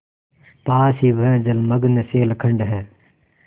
पास ही वह जलमग्न शैलखंड है